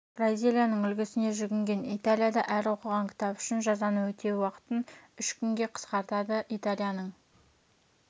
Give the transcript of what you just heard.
бразилияның үлгісіне жүгінген италия да әр оқыған кітап үшін жазаны өтеу уақытын үш күнге қысқартады италияның